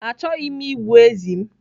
Achọghị m igbu ezi m.